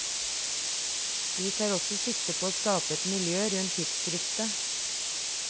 Vi tar også sikte på å skape et miljø rundt tidsskriftet.